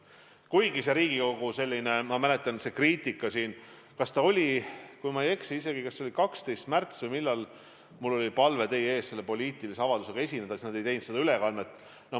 Kuigi väike kriitika oli siin Riigikogus, kui ma eksi, 12. märtsil, kui mul oli palve esineda teie ees poliitilise avaldusega ja nad ei teinud sellest ülekannet.